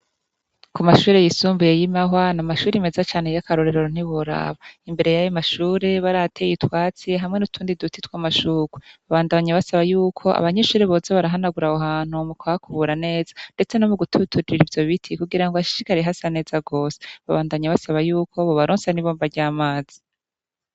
Ku mashure yisumbuye yi Mahwa n'amashure meza cane y'akarorero ntiworaba, imbere yayo mashure barahateye itwatsi hamwe n'utundi duti tw'amashugwe, babandanya basaba yuko abanyishure boza barahanagura aho hantu mu kuhabura neza ndetse no mu gutututira ivyo biti kugira ngo hashishikare hasa neza gose, babandabanya basaba yuko bobaronsa n'ibomba ry'amazi.